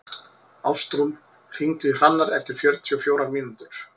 Ástrún, hringdu í Hrannar eftir fjörutíu og fjórar mínútur.